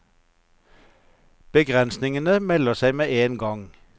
Begrensningene melder seg med en gang.